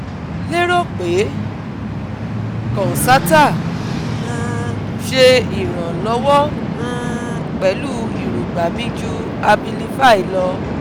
Mo lero pe concerta um se ironlowo um pelu irogba mi ju Abilify lo